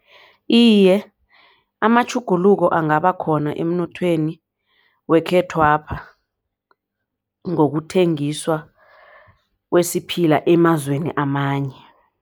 Iye, amatjhuguluko angabakhona emnothweni wekhethwapha ngokuthengiswa kwesiphila emazweni amanye.